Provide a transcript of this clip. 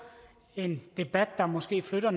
en debat der måske flytter